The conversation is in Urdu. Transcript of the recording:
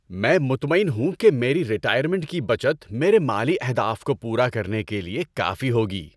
میں مطمئن ہوں کہ میری ریٹائرمنٹ کی بچت میرے مالی اہداف کو پورا کرنے کے لیے کافی ہوگی۔